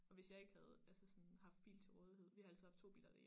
Og hvis jeg ikke havde altså sådan haft bil til rådighed vi har altid haft 2 biler derhjemme